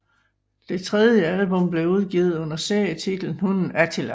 Det tredje album blev udgivet under serietitlen Hunden Attila